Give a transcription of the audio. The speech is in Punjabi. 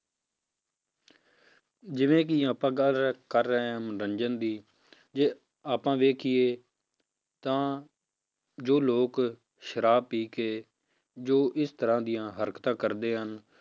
ਜਿਵੇਂ ਕਿ ਆਪਾਂ ਗੱਲ ਕਰ ਰਹੇ ਹਾਂ ਮਨੋਰੰਜਨ ਦੀ ਜੇ ਆਪਾਂ ਵੇਖੀਏ ਤਾਂ ਜੋ ਲੋਕ ਸ਼ਰਾਬ ਪੀ ਕੇ ਜੋ ਇਸ ਤਰ੍ਹਾਂ ਦੀਆਂ ਹਰਕਤਾਂ ਕਰਦੇ ਹਨ,